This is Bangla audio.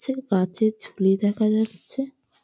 চ্ছে গাছের ঝুলি দেখা যাচ্ছে ।